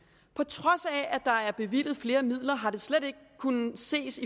på trods af at der er bevilget flere midler har det slet ikke kunnet ses